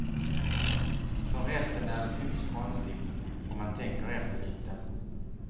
För resten är det inte så konstigt, om man tänker efter lite.